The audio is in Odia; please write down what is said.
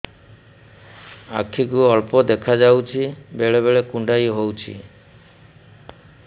ଆଖି କୁ ଅଳ୍ପ ଦେଖା ଯାଉଛି ବେଳେ ବେଳେ କୁଣ୍ଡାଇ ହଉଛି